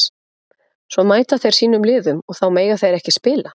Svo mæta þeir sínum liðum og þá mega þeir ekki spila?